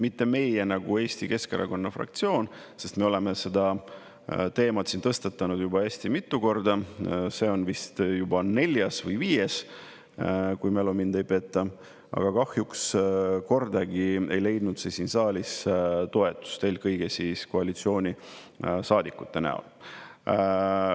Mitte meie nagu Eesti Keskerakonna fraktsioon, sest me oleme seda teemat tõstatanud juba hästi mitu korda, see on vist juba neljas või viies kord, kui mälu mind ei peta, aga kahjuks kordagi ei ole leidnud see siin saalis toetust, eelkõige koalitsioonisaadikute näol.